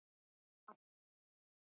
Og allt.